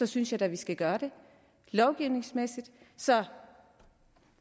synes jeg da at vi skal gøre det lovgivningsmæssigt så